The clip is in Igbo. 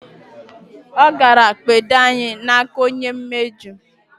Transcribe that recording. O gara kpedo anyi n'aka onye mejo